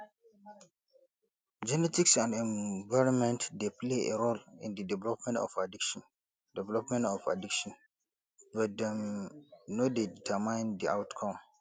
genetics and environment dey play a role in di development of addiction development of addiction but dem no dey determine di outcome